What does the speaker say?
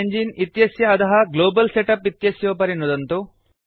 इमेङ्गिने इत्यस्य अधः global setup इत्यस्योपरि नुदन्तु